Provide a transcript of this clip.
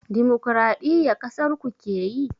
Dimukuraɗiyya ƙasarku keyi?